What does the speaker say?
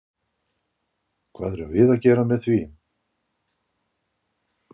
Hvað erum við að gera með því?